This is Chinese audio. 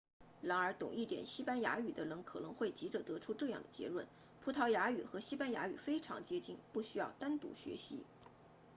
然而懂一点西班牙语的人可能会急着得出这样的结论葡萄牙语与西班牙语非常接近不需要单独学习